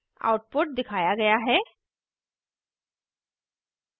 output दिखाया गया है